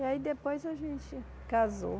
E aí depois a gente casou.